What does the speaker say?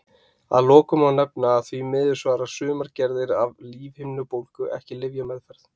Að lokum má nefna að því miður svara sumar gerðir af lífhimnubólgu ekki lyfjameðferð.